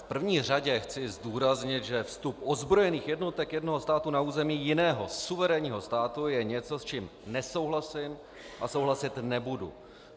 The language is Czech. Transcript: V první řadě chci zdůraznit, že vstup ozbrojených jednotek jednoho státu na území jiného suverénního státu je něco, s čím nesouhlasím a souhlasit nebudu.